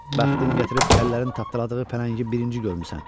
Bəxtin gətirib kəllərin tapdaladığı pələngi birinci görmüsən.